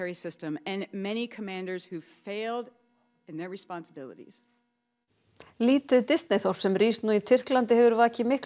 lítið Disney þorp sem rís nú í Tyrklandi hefur vakið mikla